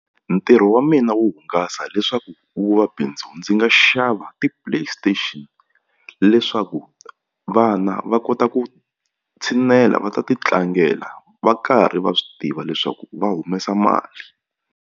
Ntirho wa mina wo hungasa leswaku wu va bindzu ndzi nga xava ti-play station leswaku vana va kota ku tshinela va ta ti tlangela va karhi va swi tiva leswaku va humesa mali.